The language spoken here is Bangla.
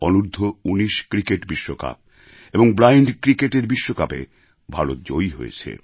অনূর্ধ্ব ১৯ ক্রিকেট বিশ্বকাপ এবং ব্লাইণ্ড ক্রিকেটের বিশ্বকাপে ভারত জয়ী হয়েছে